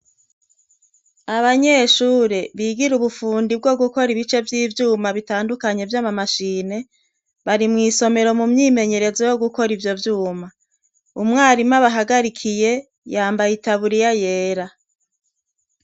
Abanyeshure bigira ubufundi bwo gukora ibice vyiyuma bitandukanye vya mashine bari mwisomero mumwimenyerezo yo gukora ivyo vyuma umwarimu abahagarikiye yamaye itaburiya yera